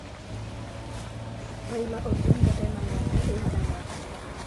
raila odinga ena mĩaka ĩigana